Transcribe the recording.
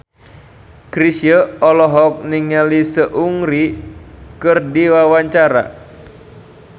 Chrisye olohok ningali Seungri keur diwawancara